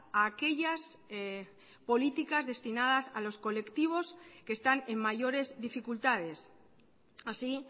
a aquellas políticas destinadas a los colectivos que están en mayores dificultades así